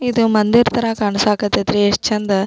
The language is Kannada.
ಇದು ಮಂದಿರ ತರ ಕಾಣಿಸಕ್ ಹತ್ತೈತಿ ಎಸ್ಟ್ ಚಂದ.